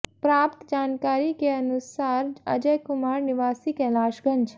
प्राप्त जानकारी के अनुसार अजय कुमार निवासी कैलाश गंज